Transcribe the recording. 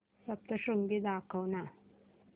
सप्तशृंगी दाखव ना